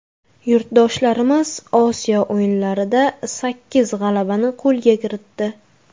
Yurtdoshlarimiz Osiyo o‘yinlarida sakkiz g‘alabani qo‘lga kiritdi.